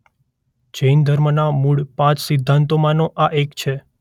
જૈન ધર્મના મૂળ પાંચ સિદ્ધાંતોમાંનો આ એક છે.